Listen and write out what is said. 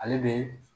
Ale bɛ